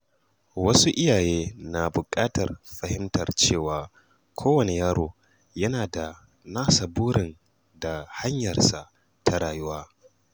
Wasu iyaye na buƙatar fahimtar cewa kowane yaro yana da nasa burin da hanyarsa ta rayuwa